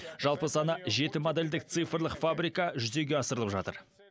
жалпы саны жеті модельдік цифрлық фабрика жүзеге асырылып жатыр